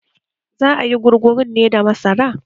Za ayi gurgurun ne da masara